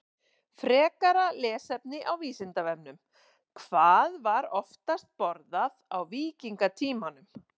Frekara lesefni á Vísindavefnum: Hvað var oftast borðað á víkingatímanum?